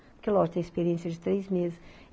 Porque, lógico, tem a experiência de três meses.